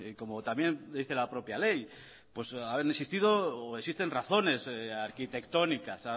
como también dice la propia ley han existido o existen razones arquitectónicas